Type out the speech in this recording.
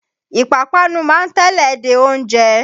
Ìpapánu ma ń tẹ́lẹ̀ dẹ oúnjẹ.